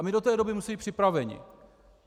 A my do té doby musíme být připraveni.